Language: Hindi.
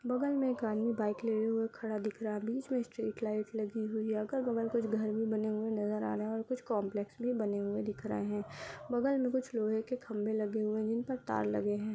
बगल में एक आदमी बाइक लिए हुए खड़ा दिख रहा है बीच में स्ट्रीट लाइट लगी हुई अगर बगल कुछ घर में बने हुए नजर आना और कुछ कॉम्प्लेक्स भी बने हुए दिख रहे हैं बगल में कुछ लोहे के खंबे लगे हुए जिन पर तार लगे हैं।